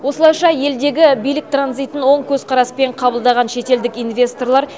осылайша елдегі билік транзитін оң көзқараспен қабылдаған шетелдік инвесторлар